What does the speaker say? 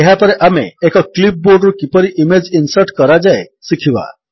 ଏହାପରେ ଆମେ ଏକ କ୍ଲିପ୍ ବୋର୍ଡରୁ କିପରି ଇମେଜ୍ ଇନ୍ସର୍ଟ କରାଯାଏ ଶିଖିବା